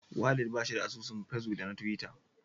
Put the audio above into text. Walid bashi da asusun fesbuk da na tiwita.